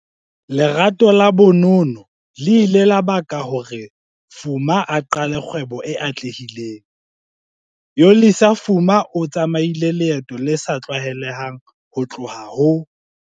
LERATO LA bonono le ile la baka hore Fuma a qale kgwebo e atlehileng. Yolisa Fuma o tsamaile leeto le sa tlwaelehang ho tloha ho